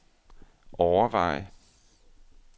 overveje